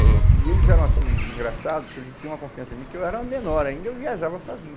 E e eles eram assim, engraçado, que eles tinham uma confiança em mim, que eu era menor ainda, eu viajava sozinho.